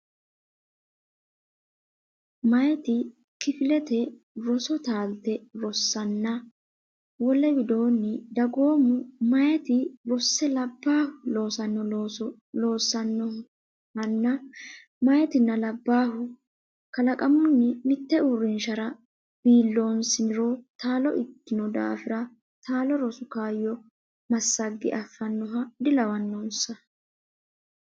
Meyati kifilete roso taalte rosanna Wole widoonni dagoomu meyati rosse labbaahu loosanno looso loossannohanna Meyatinna labballu kalaqamunni mitte uurrinshara biiloonsiniro taalo ikkino daafira taalo rosu kaayyo massagge affannoha dilawannonsa.